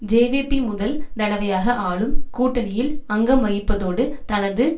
JVP முதல் தடவையாக ஆளும் கூட்டணியில் அங்கம் வகிப்பதோடு தனது